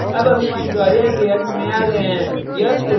अब हम इस tutorial के अंत में आ गये हैं